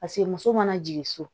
Paseke muso mana jigin so